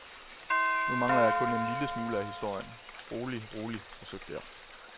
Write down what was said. Nu mangler jeg kun en lille smule af historien, rolig, rolig, forsøgte jeg.